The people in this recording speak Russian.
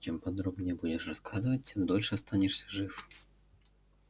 чем подробнее будешь рассказывать тем дольше останешься жив